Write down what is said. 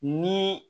Ni